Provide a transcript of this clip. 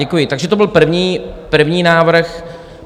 Děkuji, takže to byl první návrh.